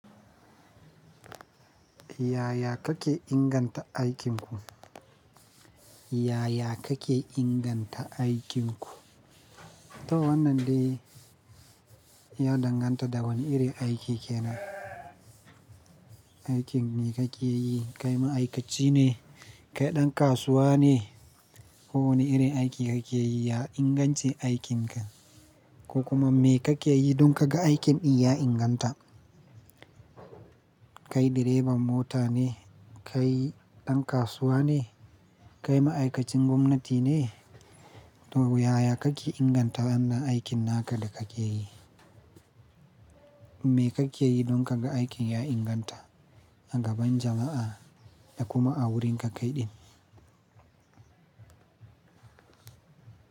Yaya kake inganta aikin ku? Yaya kake inganta aikin ku? To wannan dai, ya danganta da wane irin aiki kenan. Aikin me kake yi? Kai ma'aikaci ne? Kai ɗan kasuwa ne? Ko wane irin aiki ake yi? Ya ingance aikinka? Ko kuma me kake yi don ka ga aikin ɗin ya inganta? Kai direban mota ne, kai ɗan kasuwa ne, kai ma'aikacin gwamnati ne, to yaya kake inganta wannan aikin naka da kake yi? Me kake yi don ka ga aikin ya inganta a gaban jama'a da kuma a wurinka kaiɗin?